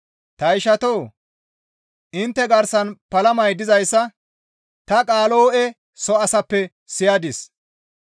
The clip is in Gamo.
Ta ishatoo! Intte garsan palamay dizayssa ta Qaalo7e soo asaappe siyadis.